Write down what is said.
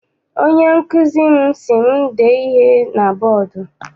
Onye nkụzi m si m dee ihe na bọdu.